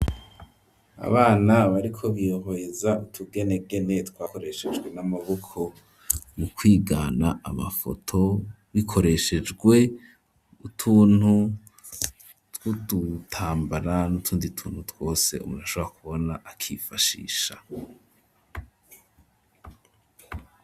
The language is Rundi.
Abana bariko bihweza utugenegene twakoreshejwe n'amaboko mu kwigana amafoto bikoreshejwe utuntu twudutambara n'utundi tuntu twose umuntu ashobora kubona akifashisha.